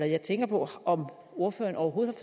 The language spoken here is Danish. jeg tænker på om ordføreren overhovedet